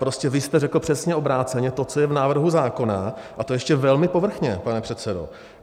Prostě vy jste řekl přesně obráceně to, co je v návrhu zákona, a to ještě velmi povrchně, pane předsedo.